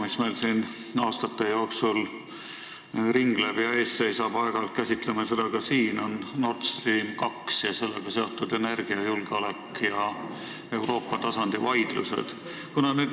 Üks teema, mis meil aastaid on ringelnud – aeg-ajalt käsitleme seda ka siin –, on Nord Stream 2 ja sellega seotud energiajulgeolek ning vaidlused Euroopa tasandil.